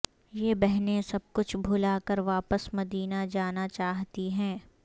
یہ بہنیں سب کچھ بھلا کر واپس مدینہ جانا چاہتی ہیں